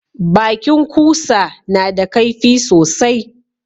Bakin kusa na da kaifi sosai